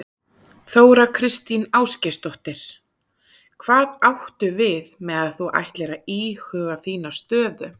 Þóra Kristín Ásgeirsdóttir: Hvað áttu við með að þú ætlir að íhuga þína stöðu?